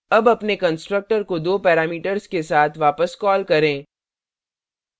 अब अपने constructor को दो parameters के साथ वापस कॉल करें